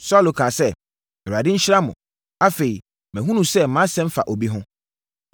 Saulo kaa sɛ, “ Awurade nhyira mo! Afei, mahunu sɛ, mʼasɛm fa obi ho.